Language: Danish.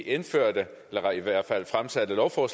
interessere sig mere for